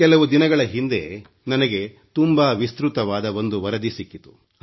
ಕೆಲವು ದಿನಗಳ ಹಿಂದೆ ನನಗೆ ತುಂಬಾ ವಿಸ್ತ್ರತವಾದ ಒಂದು ವರದಿ ಸಿಕ್ಕಿತು